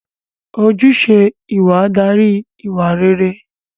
Ojúṣe ìwà darí ìwà réré